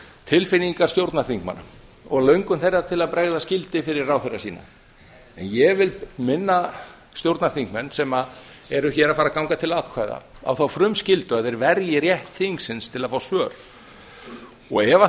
tilfinningar stjórnarþingmanna og löngun þeirra til að bregða skyldi fyrir ráðherra sína en ég vil minna stjórnarþingmenn sem eru hér að fara að ganga til atkvæða á þá frumskyldu að þeir verji rétt þingsins til að fá svör ef